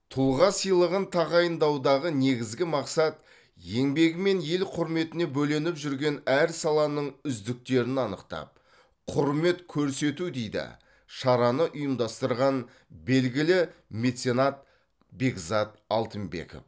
тұлға сыйлығын тағайындаудағы негізгі мақсат еңбегімен ел құрметіне бөленіп жүрген әр саланың үздіктерін анықтап құрмет көрсету дейді шараны ұйымдастырған белгілі меценат бекзат алтынбеков